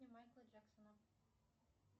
майкла джексона